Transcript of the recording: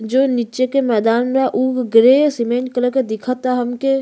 जो नीचे के मैदान में उ ग्रे सीमेंट कलर के दिख ता हमके।